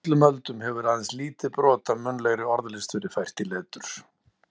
Á öllum öldum hefur aðeins lítið brot af munnlegri orðlist verið fært í letur.